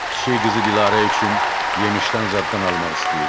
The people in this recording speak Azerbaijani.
Kiçik qızı Dilarə üçün yemişdən zaddan almaq istəyirdi.